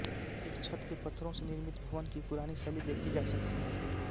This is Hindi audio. एक छत के पत्थरों से निर्मित भवन की पुरानी शैली देखी जा सकती है